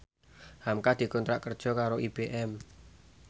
hamka dikontrak kerja karo IBM